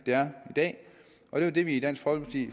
det er i dag og det er det vi i dansk folkeparti